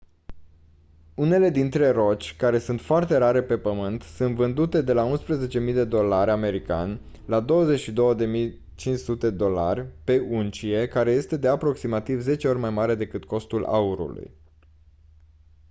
unele dintre roci care sunt foarte rare pe pământ sunt vândute de la 11.000 dolari sua la 22.500 dolari pe uncie care este de aproximativ 10 ori mai mare decât costul aurului